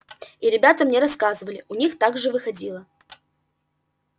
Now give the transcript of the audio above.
и ребята мне рассказывали у них так же выходило